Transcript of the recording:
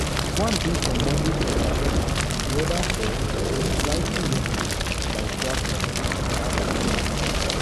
one dey for "moderate condition" and di oda four get "lightly injury" by shrapnel oga adom tok.